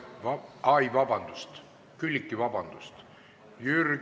Ai, vabandust, Külliki, vabandust!